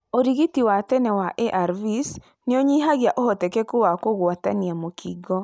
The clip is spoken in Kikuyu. ũrigiti wa tene wa ARVs nĩũnyihagia ũhotekeku wa kũgwatania mũkingo.